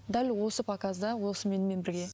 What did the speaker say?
дәл осы показда осы менімен бірге